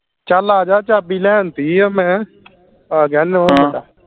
ਚਲ ਆਜਾ ਚਾਬੀ ਲੈਣ ਤੀ ਆ ਮੈਂ ਆ ਗਿਆ